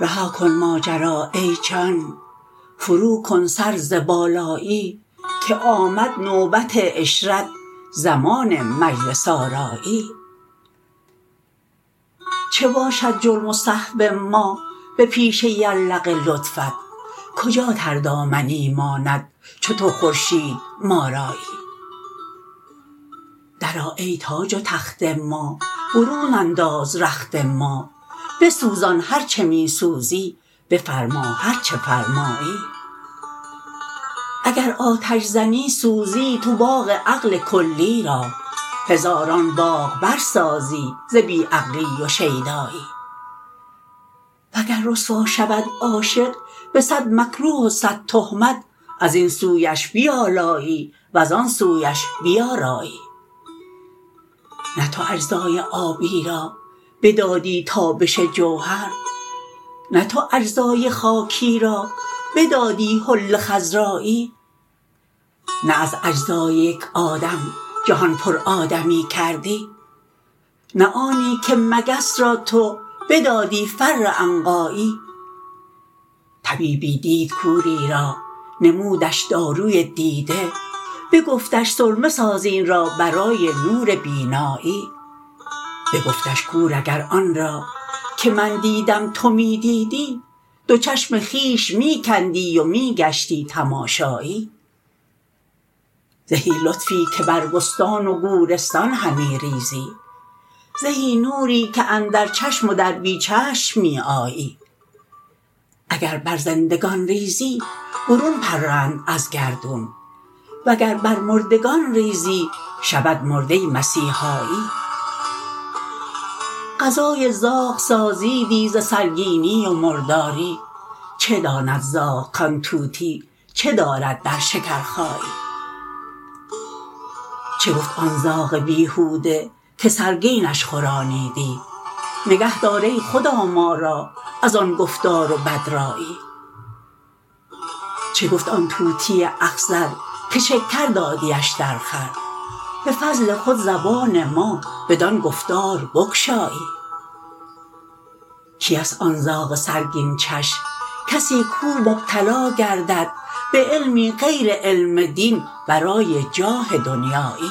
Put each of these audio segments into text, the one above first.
رها کن ماجرا ای جان فروکن سر ز بالایی که آمد نوبت عشرت زمان مجلس آرایی چه باشد جرم و سهو ما به پیش یرلغ لطفت کجا تردامنی ماند چو تو خورشید ما رایی درآ ای تاج و تخت ما برون انداز رخت ما بسوزان هر چه می سوزی بفرما هر چه فرمایی اگر آتش زنی سوزی تو باغ عقل کلی را هزاران باغ برسازی ز بی عقلی و شیدایی وگر رسوا شود عاشق به صد مکروه و صد تهمت از این سویش بیالایی وزان سویش بیارایی نه تو اجزای آبی را بدادی تابش جوهر نه تو اجزای خاکی را بدادی حله خضرایی نه از اجزای یک آدم جهان پرآدمی کردی نه آنی که مگس را تو بدادی فر عنقایی طبیبی دید کوری را نمودش داروی دیده بگفتش سرمه ساز این را برای نور بینایی بگفتش کور اگر آن را که من دیدم تو می دیدی دو چشم خویش می کندی و می گشتی تماشایی زهی لطفی که بر بستان و گورستان همی ریزی زهی نوری که اندر چشم و در بی چشم می آیی اگر بر زندگان ریزی برون پرند از گردون وگر بر مردگان ریزی شود مرده مسیحایی غذای زاغ سازیدی ز سرگینی و مرداری چه داند زاغ کان طوطی چه دارد در شکرخایی چه گفت آن زاغ بیهوده که سرگینش خورانیدی نگهدار ای خدا ما را از آن گفتار و بدرایی چه گفت آن طوطی اخضر که شکر دادیش درخور به فضل خود زبان ما بدان گفتار بگشایی کیست آن زاغ سرگین چش کسی کو مبتلا گردد به علمی غیر علم دین برای جاه دنیایی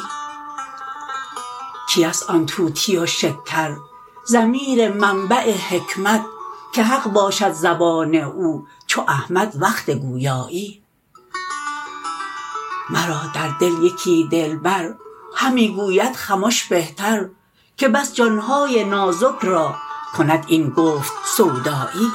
کیست آن طوطی و شکرضمیر منبع حکمت که حق باشد زبان او چو احمد وقت گویایی مرا در دل یکی دلبر همی گوید خمش بهتر که بس جان های نازک را کند این گفت سودایی